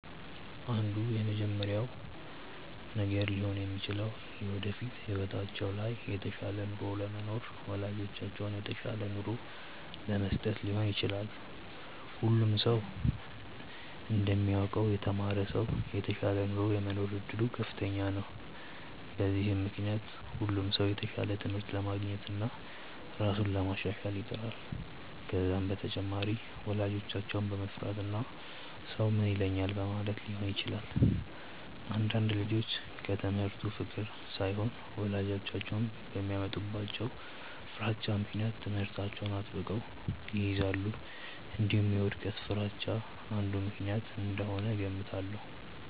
አንዱ የመጀመሪያው ነገር ሊሆን የሚችለው የወደፊት ህይወታቸው ላይ የተሻለ ኑሮ ለመኖርና ወላጆቻቸውን የተሻለ ኑሮ ለመስጠት ሊሆን ይችላል። ሁሉም ሰው እንደሚያውቀው የተማረ ሰው የተሻለ ኑሮ የመኖር እድሉ ከፍተኛ ነው። በዚህም ምክንያት ሁሉም ሰው የተሻለ ትምህርት ለማግኘትና ራሱን ለማሻሻል ይጥራል። ከዛም በተጨማሪ ወላጆቻቸውን በመፍራትና ሰው ምን ይለኛል በማለትም ሊሆን ይችላል። አንዳንድ ልጆች ከትምህርቱ ፍቅር ሳይሆን ወላጆቻቸው በሚያመጡባቸው ፍራቻ ምክንያት ትምህርታቸውን አጥብቀው ይይዛሉ። እንዲሁም የውድቀት ፍርሃቻ አንዱ ምክንያት እንደሆነ እገምታለሁ።